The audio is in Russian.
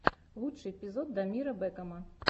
лучший эпизод дамира бэкама